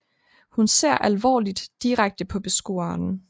Hun ser alvorligt direkte på beskueren